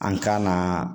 An kan ka